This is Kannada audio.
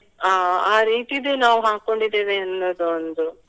ಅಹ್ ಅಹ್ ರೀತಿದು ನಾವು ಹಾಕ್ಕೊಂಡಿದ್ದೇವೆ ಅನ್ನುದು ಒಂದು.